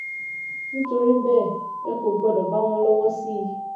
nítorí bẹ́ẹ̀ ẹ kò gbọ́dọ̀ bá wọn lọ́wọ́ sí i